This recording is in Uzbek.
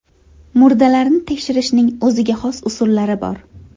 Murdalarni tekshirishning o‘ziga xos usullari bor.